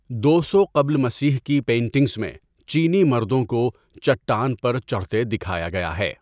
دو سو قبل مسیح کی پینٹنگز میں چینی مردوں کو چٹان پر چڑھتے دکھایا گیا ہے۔